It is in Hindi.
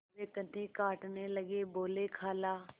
वे कन्नी काटने लगे बोलेखाला